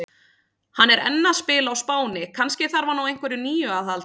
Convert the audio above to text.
Hann er enn að spila á Spáni, kannski þarf hann á einhverju nýju að halda?